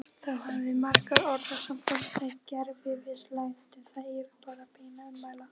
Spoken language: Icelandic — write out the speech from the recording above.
Þá hafa mörg orðasambönd með gervifrumlaginu það yfirbragð beinna ummæla